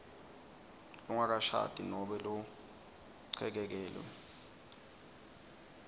longakashadi nobe lochekekelwe